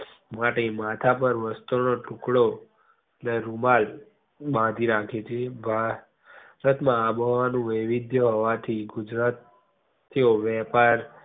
માટે માથા પાર વસ્ત્ર નો ટુકડો ને રૂમાલ બાંધી રાખે છે. ભારત માં આબોહવાનું વૈવિધ્ય હોવાથી ગુજરાતી ઓ વેપાર